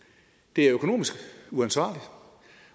det er økonomisk uansvarligt